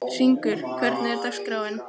Hringur, hvernig er dagskráin?